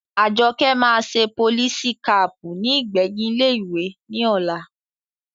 Àjọkẹ́ máa ṣe polisi kaàpù ní ìgbẹ̀yìn ilé ìwé ní ọ̀la